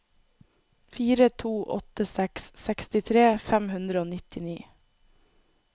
fire to åtte seks sekstitre fem hundre og nittini